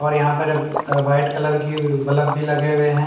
और यहां पर क वाइट कलर की बलब भी लगे हुए हैं।